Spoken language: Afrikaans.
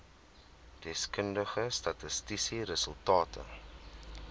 deskundige statistiese resultate